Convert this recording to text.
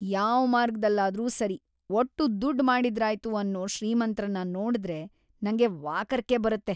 ಯಾವ್ ಮಾರ್ಗದಲ್ಲಾದ್ರೂ ಸರಿ‌ ಒಟ್ಟು ದುಡ್ಡ್ ಮಾಡಿದ್ರಾಯ್ತು ಅನ್ನೋ ಶ್ರೀಮಂತ್ರನ್ನ ನೋಡ್ದ್ರೆ ನಂಗೆ ವಾಕರಿಕೆ ಬರುತ್ತೆ.